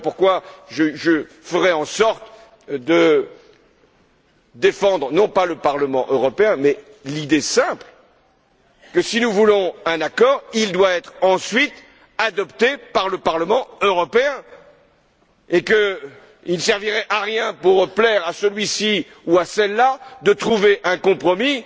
Voilà pourquoi je ferai en sorte de défendre, non pas le Parlement européen, mais l'idée simple que, si nous voulons un accord, il devra ensuite être adopté par le Parlement européen, et qu'il ne servirait à rien, pour plaire à celui ci ou à celle là, de trouver un compromis